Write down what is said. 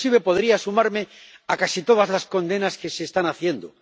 inclusive podría sumarme a casi todas las condenas que se están haciendo.